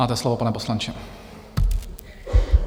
Máte slovo, pane poslanče.